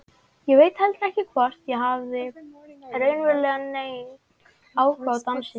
Ég veit heldur ekki hvort ég hafði raunverulega neinn áhuga á dansi.